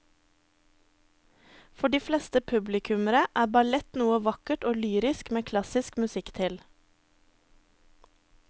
For de fleste publikummere er ballett noe vakkert og lyrisk med klassisk musikk til.